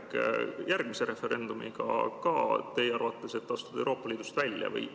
Kas järgmise referendumiga on tulemas teie arvates ka järg, et astuda Euroopa Liidust välja?